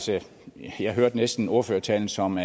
jeg hørte næsten ordførertalen som